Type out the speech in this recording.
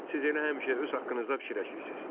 Siz elə həmişə öz haqqınızda fikirləşirsiz.